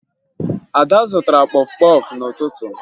Ada zụtara kpọfụ kpọfụ n'ụtụtụ